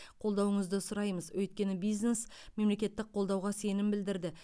қолдауыңызды сұраймыз өйткені бизнес мемлекеттік қолдауға сенім білдірді